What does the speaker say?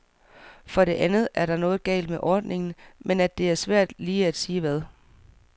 For det andet, at noget er galt med ordningen, men at det er svært lige at sige hvad.